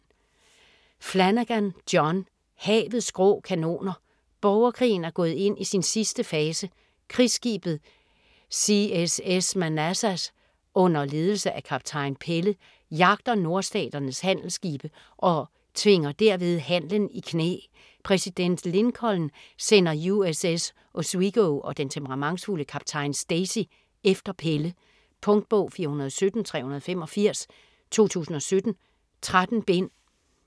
Flanagan, John: Havets grå kanoner Borgerkrigen er gået ind i sin sidste fase. Krigsskibet CSS Manassas under ledelse af kaptajn Pelle jagter Nordstaternes handelsskibe og tvinger derved handelen i knæ. Præsident Lincoln sender USS Oswego og den temperamentsfulde kaptajn Stacy efter Pelle. Punktbog 417385 2017. 13 bind.